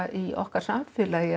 í okkar samfélagi